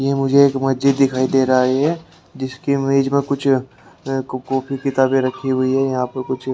ये मुझे एक मस्जिद दिखाई दे रहा है ये जिसके इमेज मे कुछ कापी किताबें रखी हुई हैं यहां पर कुछ--